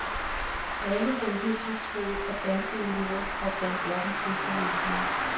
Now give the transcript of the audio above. Alle havde hidtil troet, at danske elever var blandt verdens bedste læsere.